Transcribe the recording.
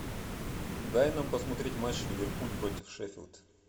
дай нам посмотреть матч ливерпуль против шеффилд